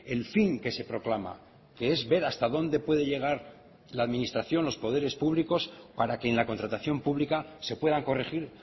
el fin que se proclama que es ver hasta dónde puede llegar la administración los poderes públicos para que en la contratación pública se puedan corregir